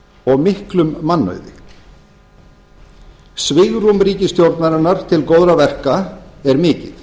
og miklum mannauði svigrúm ríkisstjórnarinnar til góðra verka er mikið